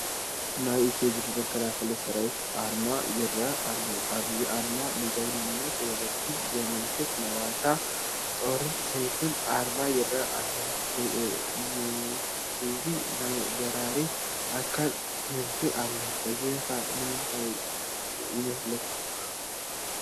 ናይ ኢፊድሪ መከላኸሊ ሰራዊት ኣርማ ይርአ ኣሎ፡፡ ኣብዚ ኣርማ ንጅግንነት ወለዲ ዘመልክት ናይ ዋልታ፣ ጦርን ሰይፍን ኣርማ ይርአ ኣሎ፡፡ ምስዚ ናይ በራሪ ኣካል ክንፊ ኣሎ፡፡ እዚ ኸ እንታይ የመልክት?